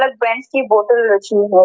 हर brands के बोतल रखी है।